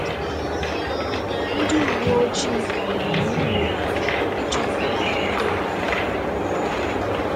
Ndị uwe ojii ka na ama imi n'ala ịchọpụta ndị kpara arụ a.